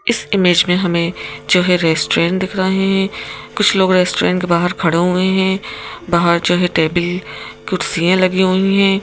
इस इमेज में हमें जो है रेस्टोरेंट दिख रहे हैं कुछ लोग रेस्टोरेंट के बाहर खड़े हुए हैं बाहर जो है टेबल कुर्सियां लगी हुई हैं।